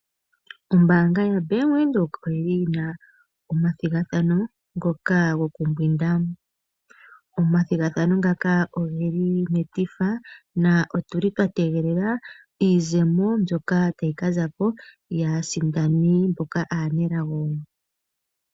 Ombaanga yaBank Windhoek oyi na oma thigathano gokumbwinda. Oma thigathano ngaka oge li metifa na otu li twa tegelela iizemo mbyoka ta yi kaza ko yaasindani mboka aanelago.